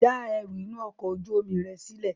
Já ẹrú inú ọkọ̀ ojú omi rẹ sílè!